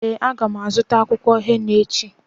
Ee, a ga m azụta akwụkwọ henà echi.